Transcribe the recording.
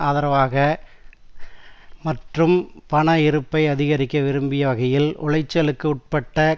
ஆதரவு மற்றும் பண இருப்பை அதிகரிக்க விரும்பிய வகையில் உளைச்சலுக்கு உட்பட்ட